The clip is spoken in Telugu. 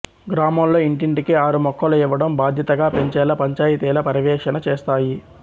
గ్రామాల్లో ఇంటింటికి ఆరు మొక్కలు ఇవ్వటం బాధ్యతగా పెంచేలా పంచాయితీల పర్యవేక్షణ చేస్తాయి